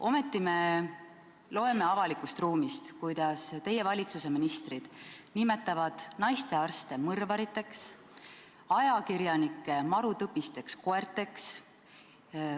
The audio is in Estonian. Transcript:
Ometi loeme meediast, kuidas teie valitsuse ministrid nimetavad naistearste mõrvariteks ja ajakirjanikke marutõbisteks koerteks.